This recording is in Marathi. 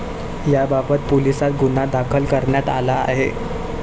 याबाबत पोलिसात गुन्हा दाखल करण्यात आला आहे.